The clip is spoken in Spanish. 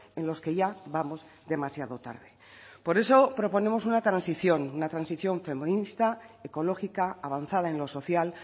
en los que ya vamos demasiado tarde por eso proponemos una transición una transición feminista ecológica avanzada en lo social